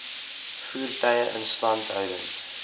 voertuie instandhouding